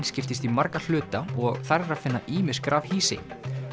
skiptist í marga hluta og þar er að finna ýmis grafhýsi